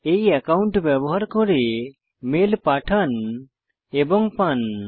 এই অ্যাকাউন্ট ব্যবহার করে মেল পাঠান এবং পান